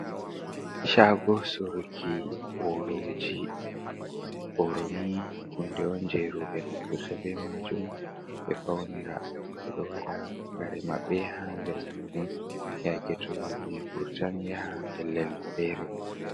Shago suruki boroji. Boro ni hunde on je roɓe naftirta bee majum be faunira. Ɓeɗo waɗa kare maɓɓe ha nder majum yake to ɗum vurtan yaha ha babal fere.